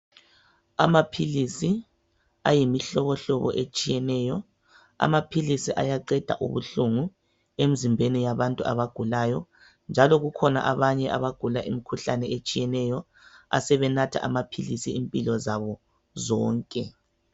Amaphilisi ayimihlobohlobo etshiyeneyo. Amaphilisi ayaqeda ubuhlungu emzimbeni yabantu abagulayo. Njalo kukhona abanye abagula imikhuhlane etshiyeneyo asebenatha amaphilisi impilo zabo zonke.